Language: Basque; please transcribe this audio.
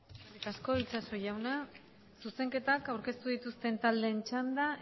eskerrik asko itsaso jaunak zuzenketak aurkeztu dituzten taldeen txanda